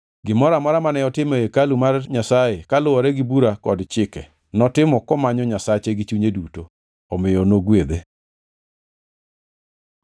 Gimoro amora mane otimo ei hekalu mar Nyasaye kaluwore gi bura kod chike, notimo komanyo Nyasache gi chunye duto. Omiyo nogwedhe.